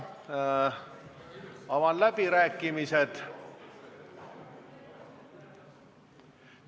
Avan läbirääkimised.